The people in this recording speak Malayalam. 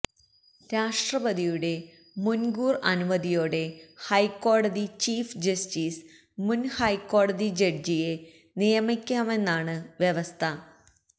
രാഷ്ട്രപതിയുടെ മുന്കൂര് അനുമതിയോടെ ഹൈക്കോടതി ചീഫ് ജസ്റ്റീസിന് മുന്ഹൈക്കോടതി ജഡ്ജിയെ നിയമിക്കാമെന്നാണ് വ്യവസ്ഥ